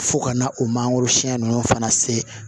Fo ka na o mangoro siyɛn nunnu fana se